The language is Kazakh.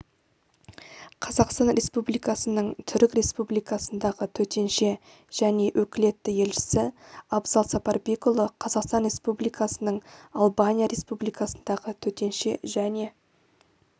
қазақстан республикасының түрік республикасындағы төтенше және өкілетті елшісі абзал сапарбекұлы қазақстан республикасының албания республикасындағы төтенше және